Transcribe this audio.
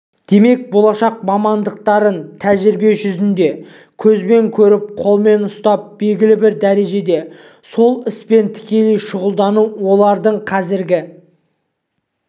демек болашақ мамандықтарын тәжірибе жүзінде көзбен көріп қолымен ұстап белгілі бір дәрежеде сол іспен тікелей шұғылдану олардың қазіргі